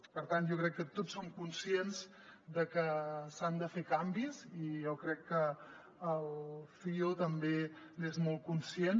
per tant jo crec que tots som conscients de que s’han de fer canvis i jo crec que el cio també n’és molt conscient